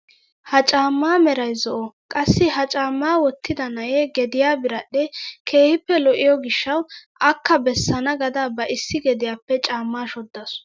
Ha caammaa meray zo'o qassi ha caammaa wottida na'ee gediyaa biradhdhee keehippe lo"iyoo gishshawu akka bessana gaada ba issi gediyaappe caammaa shooddasu!